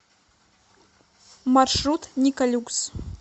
маршрут николюкс